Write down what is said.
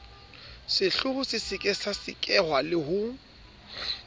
sehlooho se sekasekwa le ho